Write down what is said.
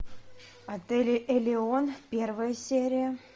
отель элеон первая серия